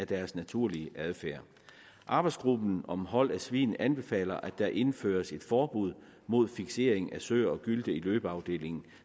deres naturlige adfærd arbejdsgruppen om hold af svin anbefaler at der indføres et forbud mod fiksering af søer og gylte i løbeafdelingen